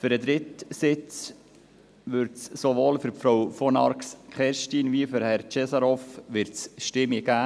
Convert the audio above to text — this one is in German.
Für den dritten Sitz wird es sowohl für Frau von Arx als auch für Herrn Cesarov Stimmen geben.